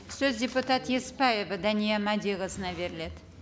сөз депутат еспаева дания мәдиқызына беріледі